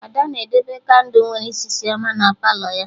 Ada na-edebe kandụ nwere isisi ọma na Palọ ya